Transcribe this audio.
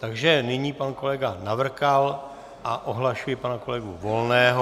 Takže nyní pan kolega Navrkal a ohlašuji pana kolegu Volného.